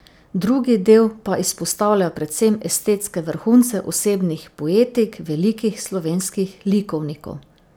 Drugi del pa izpostavlja predvsem estetske vrhunce osebnih poetik velikih slovenskih likovnikov.